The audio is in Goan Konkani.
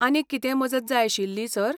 आनीक कितेंय मजत जाय आशिल्ली, सर?